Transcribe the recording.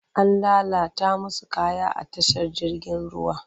An lalata musu kaya a tashar jirgin ruwa.